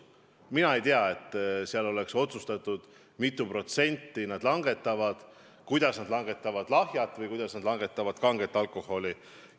Mina ei tea, et seal oleks otsustatud, mitu protsenti nad langetavad: kui palju langetavad lahjal ja kui palju kangel alkoholil.